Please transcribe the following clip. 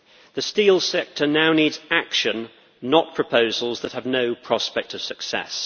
The steel sector now needs action, not proposals that have no prospect of success.